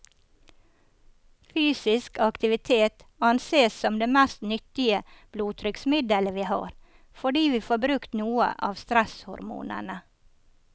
Fysisk aktivitet ansees som det mest nyttige blodtrykksmiddelet vi har, fordi vi får brukt noe av stresshormonene.